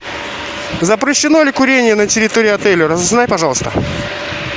запрещено ли курение на территории отеля разузнай пожалуйста